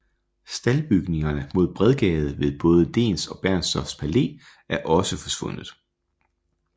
Staldbygningerne mod Bredgade ved både Dehns og Bernstorffs Palæ er også forsvundet